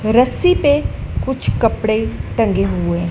रस्सी पे कुछ कपड़े टंगे हुए है।